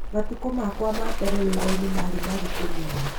Matukũ makwa ma mbere wĩra-inĩ maarĩ maritũ mũno.